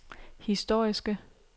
historiske